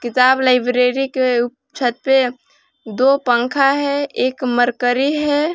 किताब लाइब्रेरी के छत पे दो पंखा है एक मरकरी है।